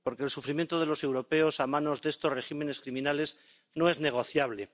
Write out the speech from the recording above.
Porque el sufrimiento de los europeos a manos de estos regímenes criminales no es negociable.